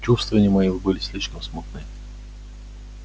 чувствования мои были слишком смутны